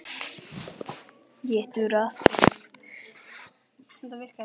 Þú hefur ekki gert annað en að sofa hjá mér.